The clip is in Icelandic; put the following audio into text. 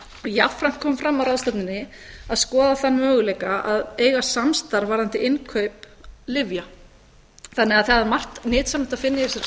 jafnframt kom fram á ráðstefnunni að skoða þann möguleika að eiga samstarf varðandi innkaup lyfja þannig að það er margt nytsamlegt að finna í þessari